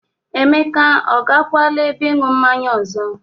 Emeka ọ gakwala ebe ịñụ mmanye ọzọ?